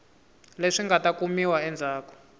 leswi nga ta kumiwa endzhaku